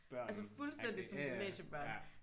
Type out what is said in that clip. Altså fuldstændigt som gymnasiebørn